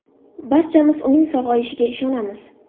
Barchamiz uning sog‘ayishiga ishonamiz.